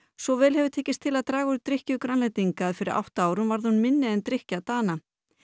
svo vel hefur tekist til að draga úr drykkju Grænlendinga að fyrir átta árum varð hún minni en drykkja Dana